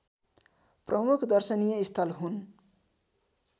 प्रमुख दर्शनीय स्थल हुन्